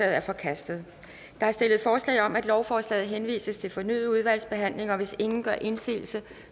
er forkastet der er stillet forslag om at lovforslaget henvises til fornyet udvalgsbehandling og hvis ingen gør indsigelse